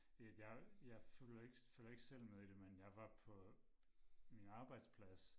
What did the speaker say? Det at jeg jeg følger følger ikke selv med i det men jeg var på min arbejdsplads